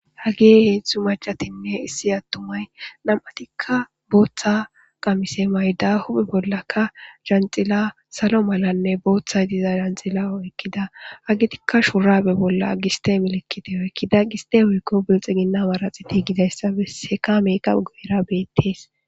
Hage heedzdzu macatinne issi attumay nam'atikka booththa qamise mayda huphe bollaka janxila salo malanne booththay diza janxila ekkida agitikka shurabe bolla agiste milekkiteyo ekkida giste wuykko bilxi ginna maraxi ti gidayssa besseka meeqa guera beettees